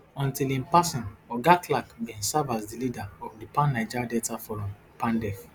until im passing oga clark bin serve as di leader of di pan niger delta forum pandef